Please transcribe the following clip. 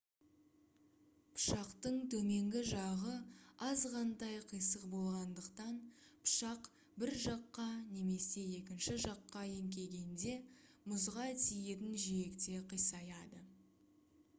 пышақтың төменгі жағы азғантай қисық болғандықтан пышақ бір жаққа немесе екінші жаққа еңкейгенде мұзға тиетін жиекте қисаяды